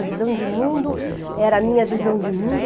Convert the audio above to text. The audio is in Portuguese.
A visão de mundo era a minha visão de mundo.